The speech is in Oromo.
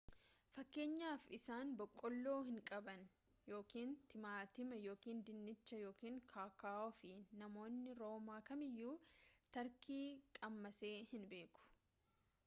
fakkeenyaaf isaan boqqoloo hin qaban ykn timaatima ykn dinnicha ykn kokoo'aa fi namni roomaa kamiyyu tarkii qammasee hin beeku